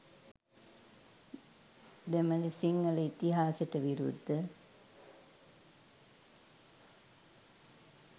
දෙමෙල සිංහල ඉතිහාසෙට විරුද්ද.